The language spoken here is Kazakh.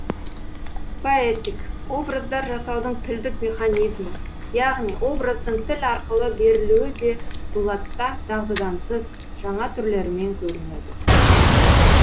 поэтик образдар жасаудың тілдік механизмі яғни образдың тіл арқылы берілуі де дулатта дағдыдан тыс жаңа түрлерімен көрінеді